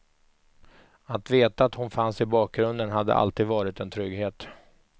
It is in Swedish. Att veta att hon fanns i bakgrunden hade alltid varit en trygghet.